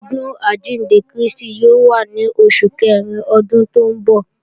Ọdún àjíǹde Krístì yóò wá ní Oṣù Kẹrin Ọdún tó ń bọ̀